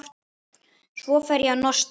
Svo fer ég að nostra.